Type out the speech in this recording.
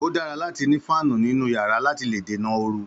Ó dára láti ni fáàni nínú yàrá láti lè dènà ooru